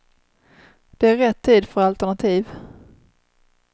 Det är rätt tid för alternativ.